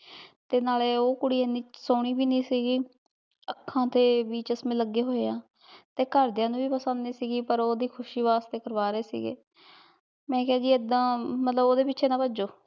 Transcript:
ਤੇ ਨਾਲੇ ਊ ਕੁਰੀ ਏਨੀ ਸੋਹਨੀ ਵੀ ਨੀ ਸੀਗੀ ਆਖਾਂ ਤੇ ਵੀ ਚਸਮੇ ਲਾਗੇ ਹੋਆਯ ਆ ਤੇ ਗਹਰ ਦੀਆਂ ਨੂ ਵੀ ਪਸੰਦ ਨਾਈ ਸੀਗੀ ਪਰ ਓੜੀ ਖੁਸ਼ੀ ਵਾਸਤੇ ਕਰਵਾ ਰਹੀ ਸੀਗੇ ਮੈਂ ਕੇਹਾ ਜੀ ਏਦਾਂ ਮਤਲਬ ਓਦੇ ਪਿਛੇ ਨਾ ਪਾਜੋ